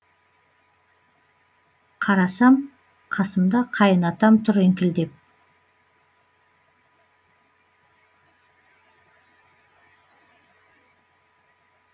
қарасам қасымда қайын атам тұр еңкілдеп